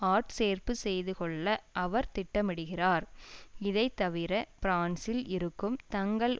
ஆட்சேர்ப்பு செய்துகொள்ள அவர் திட்டமிடுகிறார் இதைத்தவிர பிரான்சில் இருக்கும் தங்கள்